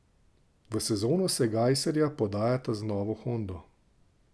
V sezono se Gajserja podajata z novo hondo.